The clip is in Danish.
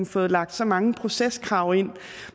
fået lagt så mange proceskrav ind